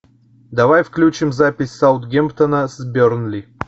давай включим запись саутгемптона с бернли